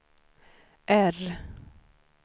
R